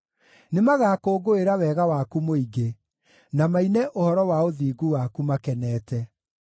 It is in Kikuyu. Nĩmagakũngũĩra wega waku mũingĩ, na maine ũhoro wa ũthingu waku makenete.